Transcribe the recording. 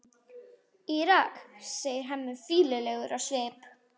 Írak, segir Hemmi, fýlulegur á svip.